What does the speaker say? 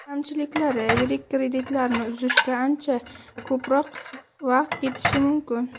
Kamchiliklari Yirik kreditlarni uzishga ancha ko‘proq vaqt ketishi mumkin.